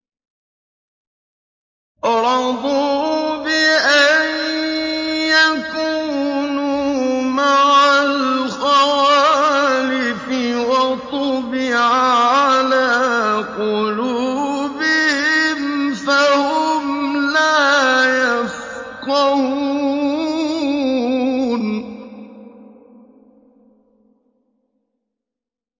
رَضُوا بِأَن يَكُونُوا مَعَ الْخَوَالِفِ وَطُبِعَ عَلَىٰ قُلُوبِهِمْ فَهُمْ لَا يَفْقَهُونَ